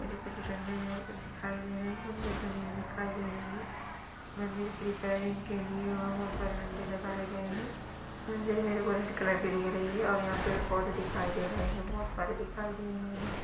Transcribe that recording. मुझे कुछ झंडे है कुछ दिखाई दे रहे है मंदिर बनी हुई दिखाई दे रही है| मंदिर की रिपेरिंग के लिए ओ झंडे लगाये गए है और मंदिर में गोल्ड कलर की दिख रही है और यहाँ पे पेड़-पोधे दिखाय दे रहे है बहोत सारे दिखाई दे रहे है।